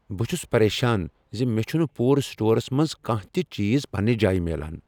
بہٕ چھس پریشان ز مےٚ چھنہٕ پورٕ سٹورس منٛز کانہہ تہ چیز پننہ جایہ میلان۔